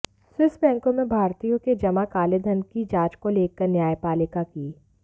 Swiss बैंकों में भारतीयों के जमा काले धन की जांच को लेकर न्यायपालिका की